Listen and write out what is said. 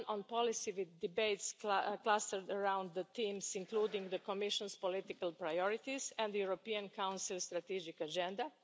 One on policy, with debates clustered around the themes, including the Commission's political priorities and the European Council strategic agenda.